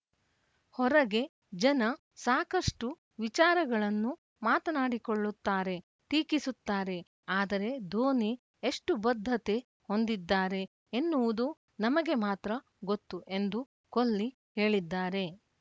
ಹೊರಗೆ ಜನ ಸಾಕಷ್ಟುವಿಚಾರಗಳನ್ನು ಮಾತನಾಡಿಕೊಳ್ಳುತ್ತಾರೆ ಟೀಕಿಸುತ್ತಾರೆ ಆದರೆ ಧೋನಿ ಎಷ್ಟುಬದ್ಧತೆ ಹೊಂದಿದ್ದಾರೆ ಎನ್ನುವುದು ನಮಗೆ ಮಾತ್ರ ಗೊತ್ತು ಎಂದು ಕೊಲ್ಲಿ ಹೇಳಿದ್ದಾರೆ